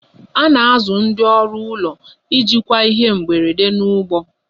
A na-azụ ndị ọrụ ụlọ ijikwa ihe mberede n'ụgbọ